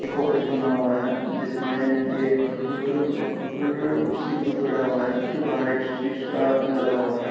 एक ऑफिस बना हुआ है जिसमे एक कंप्यूटर व-कंप्यूटर सी.पी.यु. पड़ा हुआ है उसके बाहर एक शीशा लगा हुआ है।